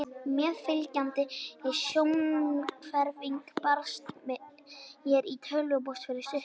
Meðfylgjandi sjónhverfing barst mér í tölvupósti fyrir stuttu.